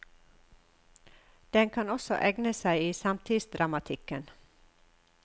Den kan også egne seg i samtidsdramatikken.